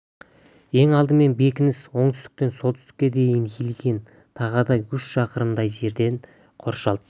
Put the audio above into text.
ең алдымен бекініс оңтүстіктен солтүстікке дейін иілген тағадай үш шақырымдай жерден қоршалды